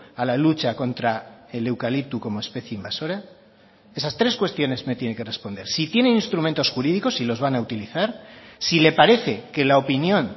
a la lucha contra el eucalipto como especie invasora esas tres cuestiones me tiene que responder si tiene instrumentos jurídicos y los van a utilizar si le parece que la opinión